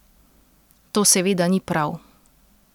To seveda ni prav.